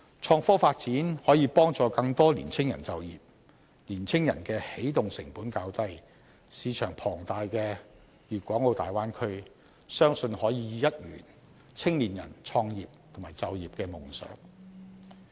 創科發展可以幫助更多青年人就業，他們的起動成本較低，市場龐大的大灣區，相信可以一圓青年人創業和就業的夢想。